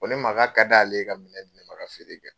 Ko ne ma k"a kad'ale ye ka minɛn di ne ma ka feere kɛ.